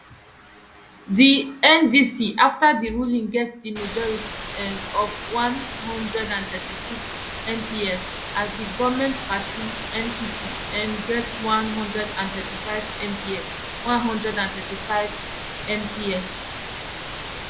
di ndc afta di ruling get di majority um of one hundred and thirty-six mps as di goment party npp um get one hundred and thirty-five mps one hundred and thirty-five mps